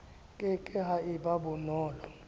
ke ke ha eba bonolo